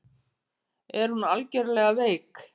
Er hún alvarlega veik?